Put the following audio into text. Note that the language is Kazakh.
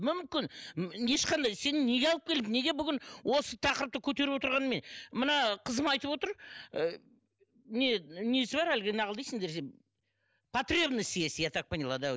мүмкін ешқандай сені неге алып келді неге бүгін осы тақырыпты көтеріп отырғанын мен мына қызым айтып отыр ы не несі бар әлгі нағыл дейсіңдер потребность есть я так поняла да